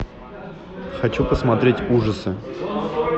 хочу посмотреть ужасы